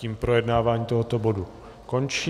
Tím projednávání tohoto bodu končí.